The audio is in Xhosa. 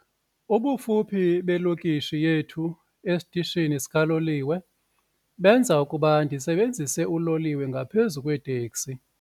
Ubufuphi belokishi yethu esitishini sikaloliwe benza ukuba ndisebenzise uloliwe ngaphezu kweeteksi.